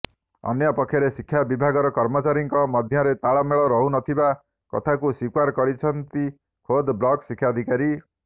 ଅନ୍ୟପକ୍ଷରେ ଶିକ୍ଷା ବିଭାଗର କର୍ମଚାରୀଙ୍କ ମଧ୍ୟରେ ତାଳମେଳ ରହୁନଥିବା କଥାକୁ ସ୍ୱୀକାର କରିଛନ୍ତି ଖୋଦ ବ୍ଲକ ଶିକ୍ଷାଧିକାରି